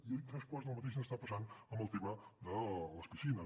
i tres quarts del mateix està passant amb el tema de les piscines